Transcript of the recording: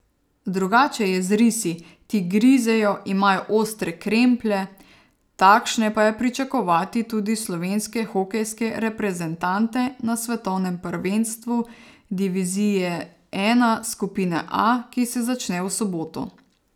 Drugače je z risi, ti grizejo, imajo ostre kremplje, takšne pa je pričakovati tudi slovenske hokejske reprezentante na svetovnem prvenstvu divizije I skupine A, ki se začne v soboto.